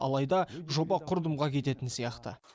алайда жоба құрдымға кететін сияқты